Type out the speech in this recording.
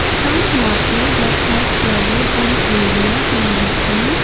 some water that have flooded an area can be seen.